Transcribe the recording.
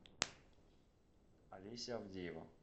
олеся авдеева